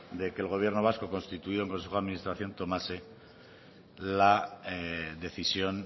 de que el gobierno vasco constituido en consejo de administración tomase la decisión